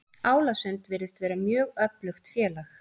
Álasund virðist vera mjög öflugt félag.